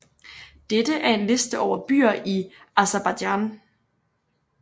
Dette er en liste over byer i Aserbajdsjan